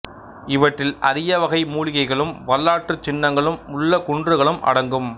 இவற்றில் அரிய வகை மூலிகைகளும் வரலாற்றுச் சின்னங்களும் உள்ள குன்றுகளும் அடங்கும்